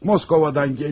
Moskvadan gəlirəm.